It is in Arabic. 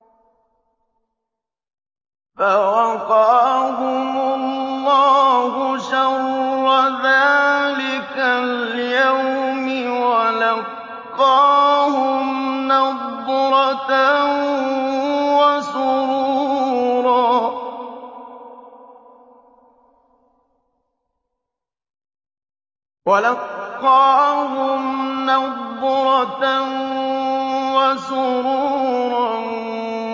فَوَقَاهُمُ اللَّهُ شَرَّ ذَٰلِكَ الْيَوْمِ وَلَقَّاهُمْ نَضْرَةً وَسُرُورًا